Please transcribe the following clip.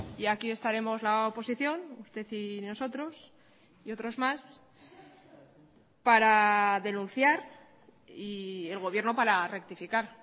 y aquí estaremos la oposición usted y nosotros y otros más para denunciar y el gobierno para rectificar